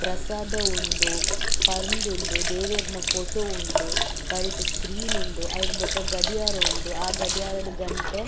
ಪ್ರಸಾದ ಉಂಡು ಪರ್ಂದ್ ಉಂಡು ದೇವೆರ್ನ ಫೊಟೊ ಉಂಡು ಬರಿಟ್ ಸ್ಕ್ರೀನ್ ಉಂಡು ಅವೆಡ್ ಬೊಕ ಗಡಿಯಾರ ಉಂಡು ಆ ಗಡಿಯಾರಡ್ ಘಂಟೆ.